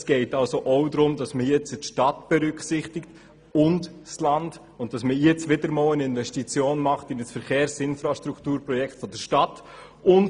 Es geht ebenfalls darum, die Stadt und das Land zu berücksichtigen und wieder einmal eine Investition in ein Verkehrsinfrastrukturprojekt der Stadt zu tätigen.